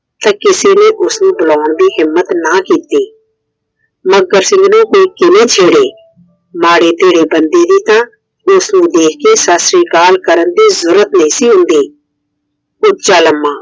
ਤੇ ਕਿਸੇ ਨੇ ਉਸ ਨੂੰ ਬੁਲਾਣ ਦੀ ਹਿੰਮਤ ਨਾ ਕੀਤੀ ਮੱਘਰ ਸਿੰਘ ਨੇ ਮਾੜੇ ਤੇੜੇ ਬੰਦੇ ਦੀ ਤਾਂ ਉਸ ਨੂੰ ਵੇਖ ਕੇ ਸਸਰੀਕਾਲ ਕਰਨ ਦੀ ਹਿੰਮਤ ਨਹੀਂ ਸੀ ਹੁੰਦੀI ਉੱਚਾ ਲੰਮਾ